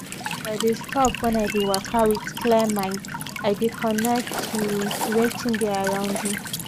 as i de stop wen i de waka with clear mind i de connect to to wetin dey around me